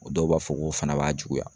dɔw b'a fɔ ko fana b'a juguya.